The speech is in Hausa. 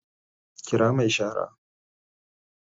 Kira mai shara